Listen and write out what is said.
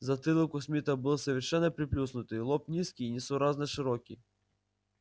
затылок у смита был совершенно приплюснутый лоб низкий и несуразно широкий